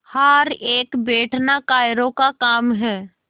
हार कर बैठना कायरों का काम है